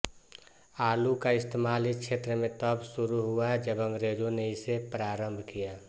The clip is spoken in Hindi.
आलू का इस्तेमाल इस क्षेत्र में तब शुरू हुआ जब अंग्रेजों ने इसे प्रारंभ किया